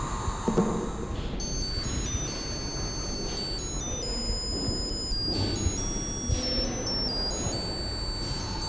við